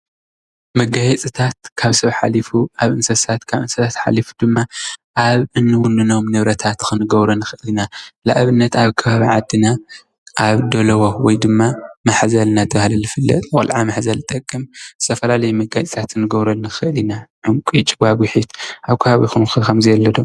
መጋየፂታት ካብ ሰብ ሓሊፉ ኣብ እንስሳት ካብ እንስሳት ሓሊፉ ድማ ኣብ እንውንኖም ንብረታት ክንገብሮም ንኽእል ኢና፡፡ ንኣብነት ኣብ ከባቢ ዓድና ኣብ ደለዎ ወይድማ ማሕዘል እናተባህለ ዝፍለጥ ቆልዓ መሕዘሊ ዝጠቅም ዝተፈላለየ መጋየፂታት ክንገብረሉ ንኽእል ኢና፡፡ ዕንቂ፣ ጭጓጉሒት ኣብ ከባቢኹምከ ከምዚ ኣሎ ዶ?